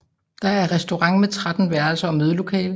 Der er restaurant med 13 værelser og mødelokaler